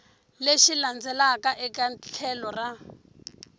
lexi landzelaka eka tlhelo ra